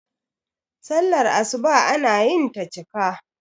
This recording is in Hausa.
sallar asuba ana yinta cika